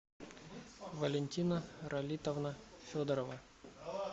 валентина ралитовна федорова